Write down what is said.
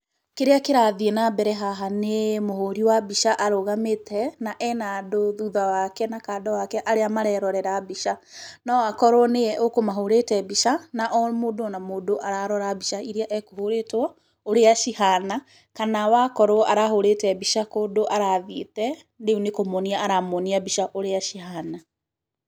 Kĩrĩa kĩrathiĩ na mbere haha, nĩ mũhũri wa mbica arũgamĩte na ena andũ thutha wake na kando wake arĩa marerorera mbica. No akorwo nĩwe ekũmahũrĩte mbica na o mũndũ o na mũndũ ararora mbica iria ekũhũrĩtwo ũrĩa cihana kana akorwo arahũrĩte mbica kũndũ arathiĩte rĩu nĩ kũmonia aramonia mbica ũrĩa cihana.